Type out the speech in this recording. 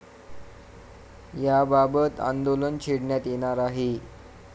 याबाबत आंदोलन छेडण्यात येणार आहे.